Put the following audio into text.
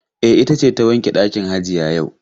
E, ita ce ta wanke ɗakin hajiya yau.